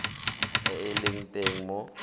e e leng teng mo